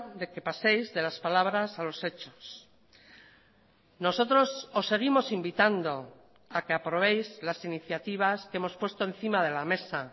de que paséis de las palabras a los hechos nosotros os seguimos invitando a que aprobéis las iniciativas que hemos puesto encima de la mesa